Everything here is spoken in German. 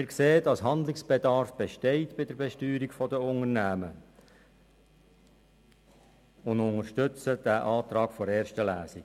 Wir erkennen, dass bei der Besteuerung der Unternehmen Handlungsbedarf besteht, und wir unterstützen den Antrag der ersten Lesung.